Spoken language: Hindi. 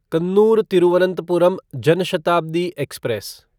कन्नूर तिरुवनंतपुरम जन शताब्दी एक्सप्रेस